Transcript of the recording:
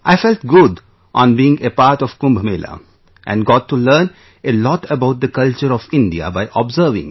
I felt good on being a part of Kumbh Mela and got to learn a lot about the culture of India by observing